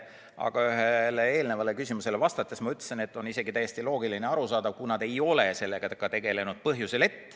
Aga ühele eelmisele küsimusele vastates ma ütlesin, et on isegi täiesti loogiline ja arusaadav, kui nad ei ole sellega tegelenud.